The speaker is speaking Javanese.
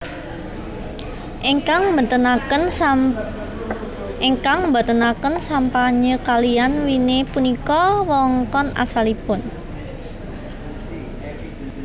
Ingkang mbéntenaken sampanye kaliyan winé punika wewengkon asalipun